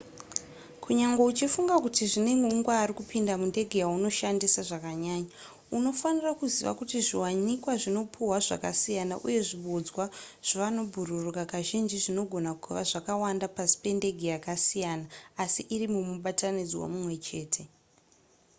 kunyangwe uchifunga kuti zvine hungwaru kupinda mundege yaunoshandisa zvakanyanya unofanirwa kuziva kuti zviwanikwa zvinopihwa zvakasiyana uye zvibodzwa zvevanobhururuka kazhinji zvinogona kuva zvakawanda pasi pendege yakasiyana asi iri mumubatanidzwa mumwe chete